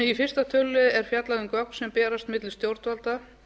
í fyrsta tölulið er fjallað um gögn sem berast milli stjórnvalda